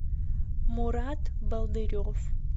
мурат болдырев